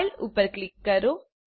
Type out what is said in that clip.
file ઉપર click કરો